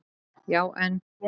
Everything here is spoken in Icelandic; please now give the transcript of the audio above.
Já en.